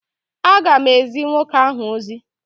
A ga m ezi nwoke ahụ ozi.